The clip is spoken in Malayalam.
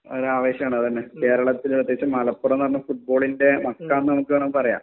ആവേശാണ് അതന്നെ കേരളത്തിൽ പ്രത്യേകിച്ചും മലപ്പുറം എന്ന് പറഞ്ഞാൽ ഫുട്ബോളിൻ്റെ മക്ക എന്ന് വേണേ നമുക് പറയാം